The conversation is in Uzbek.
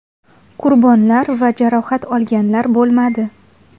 Qurbonlar va jarohat olganlar bo‘lmadi.